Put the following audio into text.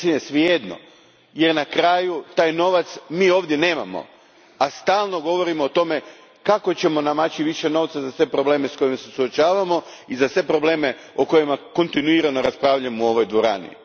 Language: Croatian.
Sasvim je svejedno jer na kraju mi taj novac ovdje nemamo, a stalno govorimo o tome kako ćemo namaći više novca za sve probleme s kojima se suočavamo i za sve probleme o kojima kontinuirano raspravljamo u ovoj dvorani.